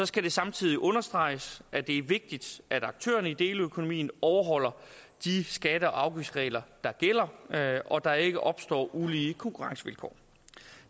skal det samtidig understreges at det er vigtigt at aktørerne i deleøkonomien overholder de skatte og afgiftsregler der gælder og at der ikke opstår ulige konkurrencevilkår